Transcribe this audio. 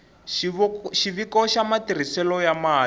xiviko xa matirhiselo ya mali